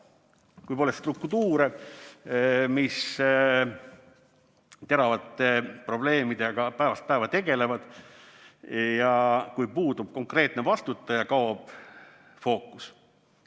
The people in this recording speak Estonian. Kui pole struktuure, mis teravate probleemidega päevast päeva tegelevad, ja kui puudub konkreetne vastutaja, kaob fookus.